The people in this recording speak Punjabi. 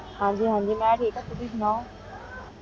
ਹਨ ਜੀ ਹਨ ਜੀ ਮੈਂ ਠੀਕ ਆਂ ਤੁਸੀਂ ਸੁਨੋ